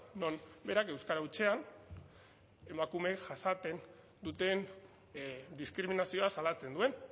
non berak euskara hutsean emakumeek jasaten duten diskriminazioa salatzen duen